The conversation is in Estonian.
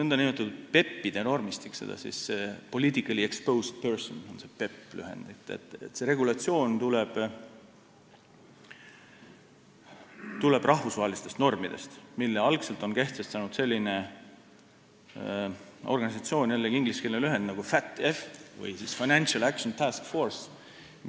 See nn PEP-ide – lühend sõnadest politically exposed person – normistik tuleneb rahvusvahelistest reeglitest, mille on algselt kehtestanud selline organisatsioon nagu Financial Action Task Force.